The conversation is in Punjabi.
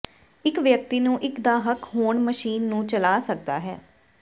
ਇੱਕ ਵਿਅਕਤੀ ਨੂੰ ਇੱਕ ਦਾ ਹੱਕ ਹੋਣ ਮਸ਼ੀਨ ਨੂੰ ਚਲਾ ਸਕਦਾ ਹੈ